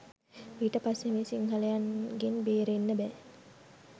ඊට පස්සේ මේ සිංහලයින්ගෙන් බේරෙන්න බෑ